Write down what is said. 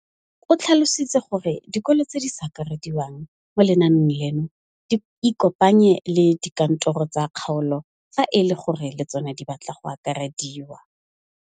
O tlhalositse gore dikolo tse di sa akarediwang mo lenaaneng leno di ikopanye le dikantoro tsa kgaolo fa e le gore le tsona di batla go akarediwa.